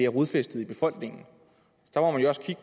rodfæstet i befolkningen